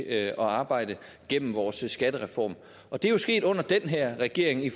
at arbejde igennem vores skattereform og det er jo sket under den her regering i